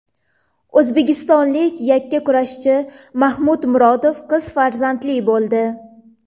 O‘zbekistonlik yakkakurashchi Mahmud Murodov qiz farzandli bo‘ldi.